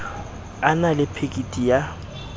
a na le phekiti ya